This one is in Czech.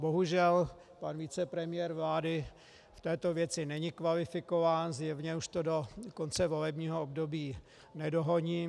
Bohužel pan vicepremiér vlády v této věci není kvalifikován, zjevně už to do konce volebního období nedohoní.